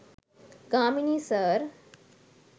Gamini sir